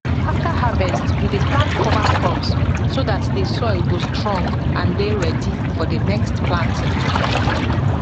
after harvest we dey plant cover crops so dat the soil go strong and dey ready for the next planting